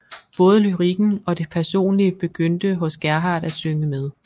Både lyrikken og det personlige begyndte hos Gerhardt at synge med